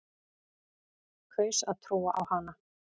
Kaus að trúa á hana.